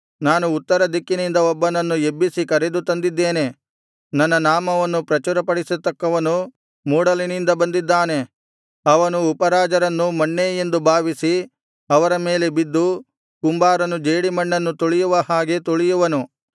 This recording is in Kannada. ನಾನು ಉತ್ತರ ದಿಕ್ಕಿನಿಂದ ಒಬ್ಬನನ್ನು ಎಬ್ಬಿಸಿ ಕರೆದು ತಂದಿದ್ದೇನೆ ನನ್ನ ನಾಮವನ್ನು ಪ್ರಚುರಪಡಿಸತಕ್ಕವನು ಮೂಡಲಿನಿಂದ ಬಂದಿದ್ದಾನೆ ಅವನು ಉಪರಾಜರನ್ನು ಮಣ್ಣೇ ಎಂದು ಭಾವಿಸಿ ಅವರ ಮೇಲೆ ಬಿದ್ದು ಕುಂಬಾರನು ಜೇಡಿಮಣ್ಣನ್ನು ತುಳಿಯುವ ಹಾಗೆ ತುಳಿಯುವನು